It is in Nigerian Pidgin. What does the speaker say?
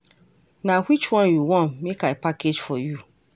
Na which one you wan make I package for you?